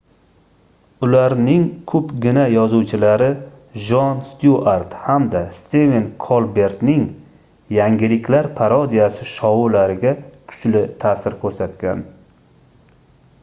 ularning koʻpgina yozuvchilari jon styuart hamda stiven kolbertning yangiliklar parodiyasi shoulariga kuchli taʼsir koʻrsatgan